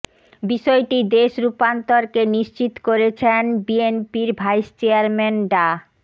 বিষয়টি দেশ রূপান্তরকে নিশ্চিত করেছেন বিএনপির ভাইস চেয়ারম্যান ডা